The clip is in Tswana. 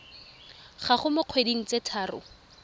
gago mo dikgweding tse tharo